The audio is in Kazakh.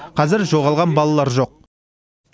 қазір жоғалған балалар жоқ